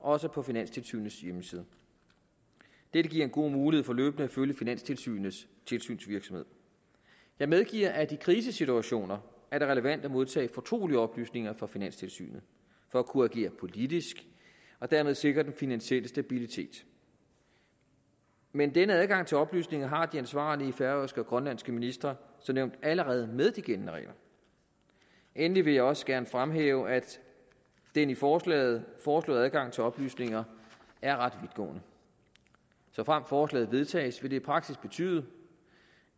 også på finanstilsynets hjemmeside dette giver en god mulighed for løbende at følge finanstilsynets tilsynsvirksomhed jeg medgiver at det i krisesituationer er relevant at modtage fortrolige oplysninger fra finanstilsynet for at kunne agere politisk og dermed sikre den finansielle stabilitet men denne adgang til oplysninger har de ansvarlige færøske og grønlandske ministre som nævnt allerede med de gældende regler endelig vil jeg også gerne fremhæve at den i forslaget foreslåede adgang til oplysninger er ret vidtgående såfremt forslaget vedtages vil det i praksis betyde